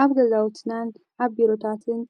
ኣብ ገዛውትናን ዓብ ቢሮታትን